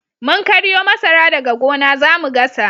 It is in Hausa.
Mun karyo masara daga gona zamu gasa